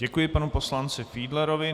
Děkuji panu poslanci Fiedlerovi.